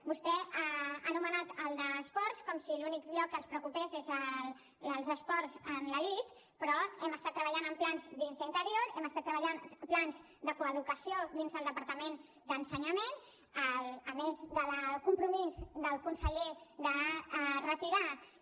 vostè ha anomenat el d’esports com si l’únic lloc que ens preocupés fos els esports en l’elit però hem estat treballant en plans dins d’interior hem estat treballant plans de coeducació dins del departament d’ensenyament a més del compromís del conseller de retirar i